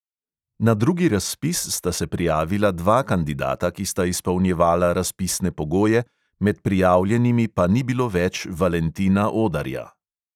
Na drugi razpis sta se prijavila dva kandidata, ki sta izpolnjevala razpisne pogoje, med prijavljenimi pa ni bilo več valentina odarja.